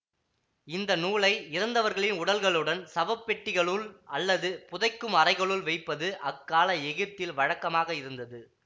இந்த நூலை இறந்தவர்களின் உடல்களுடன் சவப்பெட்டிகளுள் அல்லது புதைக்கும் அறைகளுள் வைப்பது அக்கால எகிப்தில் வழக்கமாக இருந்தது